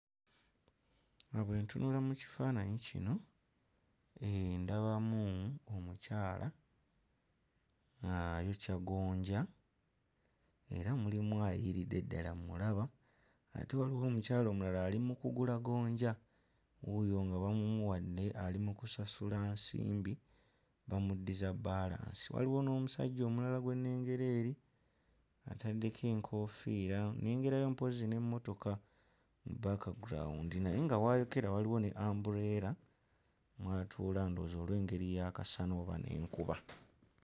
Nga bwe ntunula mu kifaananyi kino eeh ndabamu omukyala ayokya gonja era mulimu aggyiiridde ddala mmulaba ate waliwo omukyala omulala ali mu kugula gonja wuuyo nga bamumuwadde ali mu kusasula nsimbi bamuddiza bbaalansi waliwo n'omusajja omulala gwe nnengera eri ataddeko enkoofiira nnengerayo mpozzi n'emmotoka mu background naye nga w'ayokera waliwo ne umbrella mw'atuula ndowooza olw'engeri y'akasana oba n'enkuba.